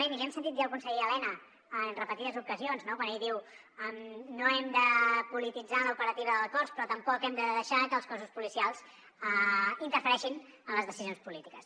i l’hi hem sentit dir al conseller elena en repetides ocasions no quan ell diu no hem de polititzar l’operativa del cos però tampoc hem de deixar que els cossos policials interfereixin en les decisions polítiques